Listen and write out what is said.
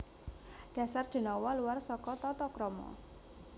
Dasar denawa luwar saka tatakrama